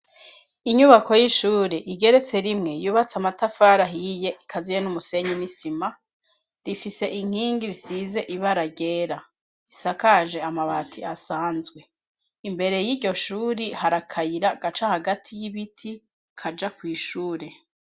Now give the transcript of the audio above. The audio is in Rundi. Inyubako y'ishure igeretse rimwe yubatswe amafatari ahiye ikaziye n'umusenyi n'isima, rifise inkingi zisize ibara ryera isakaje amabati asanzwe imbere yiryo shure hari akayira gaca hagati y'ibiti kaja kw'ishure.